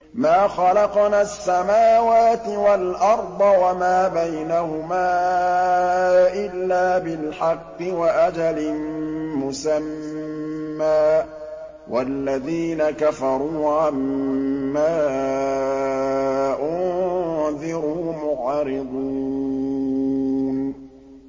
مَا خَلَقْنَا السَّمَاوَاتِ وَالْأَرْضَ وَمَا بَيْنَهُمَا إِلَّا بِالْحَقِّ وَأَجَلٍ مُّسَمًّى ۚ وَالَّذِينَ كَفَرُوا عَمَّا أُنذِرُوا مُعْرِضُونَ